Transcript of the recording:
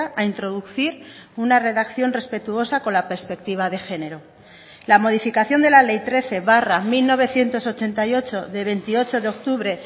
a introducir una redacción respetuosa con la perspectiva de género la modificación de la ley trece barra mil novecientos ochenta y ocho de veintiocho de octubre